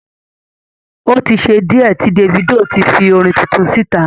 O tí ṣe díẹ̀ tí Davido ti fi orin tuntun síta.